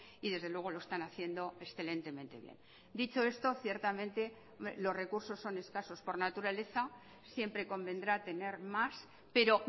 y desde luego lo están haciendo excelentemente bien dicho esto ciertamente los recursos son escasos por naturaleza siempre convendrá tener más pero